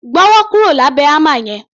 Gbọ́wọ́ kúrò lábẹ̀ hámà yẹn!